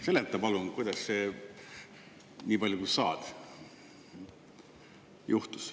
Seleta palun nii palju, kui saad, kuidas see juhtus.